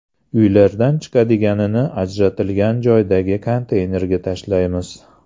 Uylardan chiqadiganini ajratilgan joydagi konteynerga tashlaymiz.